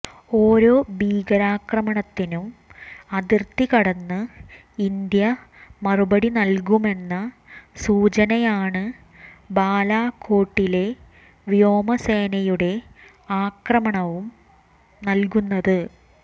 ഓരോ ഭീകരാക്രമണത്തിനും അതിര്ത്തി കടന്ന് ഇന്ത്യ മറുപടി നല്കുമെന്ന സൂചനയാണ് ബാലാകോട്ടിലെ വ്യോമ സേനയുടെ ആക്രമണവും നല്കുന്നത്